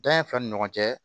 Dan in filɛ ni ɲɔgɔn cɛ